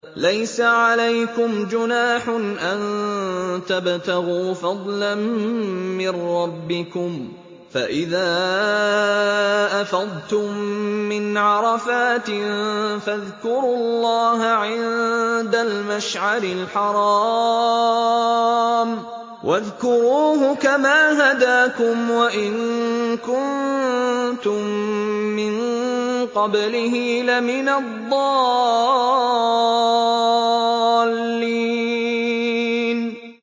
لَيْسَ عَلَيْكُمْ جُنَاحٌ أَن تَبْتَغُوا فَضْلًا مِّن رَّبِّكُمْ ۚ فَإِذَا أَفَضْتُم مِّنْ عَرَفَاتٍ فَاذْكُرُوا اللَّهَ عِندَ الْمَشْعَرِ الْحَرَامِ ۖ وَاذْكُرُوهُ كَمَا هَدَاكُمْ وَإِن كُنتُم مِّن قَبْلِهِ لَمِنَ الضَّالِّينَ